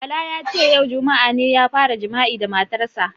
Bala ya ce "yau juma'a ne ya fara jima'i da matar sa".